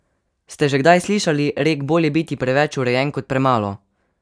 Ste že kdaj slišali rek bolje biti preveč urejen kot premalo?